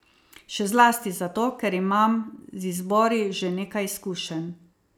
Še zlasti zato, ker imam z izbori že nekaj izkušenj.